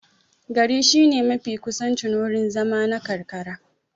Gari shine mafi kusancin wurin zama na karkara.